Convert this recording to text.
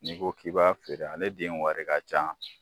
N'i ko k'i b'a feere a le den wari ka can.